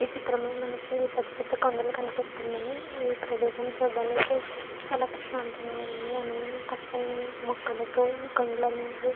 ఈ చిత్రంలో మనకి పెద్దపెద్ద కొండలు కనిపిస్తున్నాయి ఈ ప్రదేశము చూడటానికి చాలా ప్రశాంతంగా ఉంది అలానే పచ్చని మొక్కలతో ఈ కొండలనేవి --